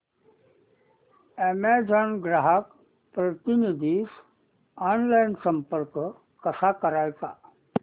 Amazon ग्राहक प्रतिनिधीस online संपर्क कसा करायचा